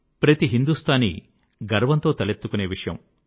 ప్రతి హిందూస్తానీ గర్వంతో తలెత్తుకొనే విషయం